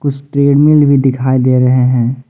कुछ ट्रेडमिल भी दिखाई दे रहे हैं।